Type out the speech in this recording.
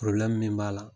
min b'a la